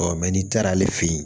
n'i taara ale fe yen